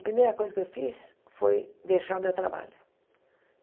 A primeira coisa que eu fiz foi deixar o meu trabalho.